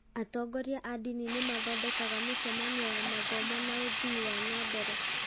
Atongoria a ndini nĩ mathondekaga mĩcemanio ya mathomo na ũthii wan a mbere.